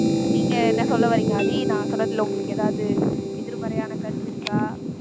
நீங்க என்ன சொல்ல வர்றீங்க ஆதி நான் சொன்னதிலே உங்களுக்கு ஏதாவது எதிர்மறையான கருத்து இருக்கா